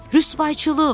“Rüsvayçılıq!”